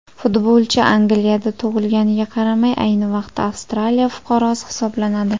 Futbolchi Angliyada tug‘ilganiga qaramay, ayni vaqtda Avstraliya fuqarosi hisoblanadi.